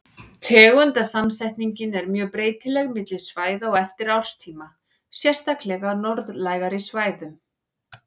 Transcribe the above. Tegundasamsetningin er mjög breytileg milli svæða og eftir árstíma, sérstaklega á norðlægari svæðum.